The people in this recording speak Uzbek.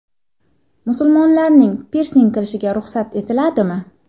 Musulmonlarning pirsing qilishiga ruxsat etiladimi?.